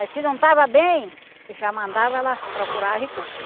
Aí se não estava bem, já mandava ela procurar recurso,